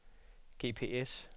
GPS